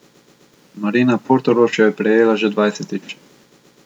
Marina Portorož jo je prejela že dvajsetič.